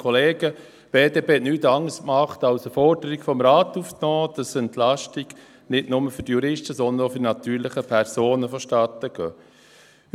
Die BDP hat nichts anderes gemacht, als eine Forderung des Rates aufzunehmen, dass Entlastungen nicht nur für die Juristen, sondern auch für die natürlichen Personen vonstattengehen.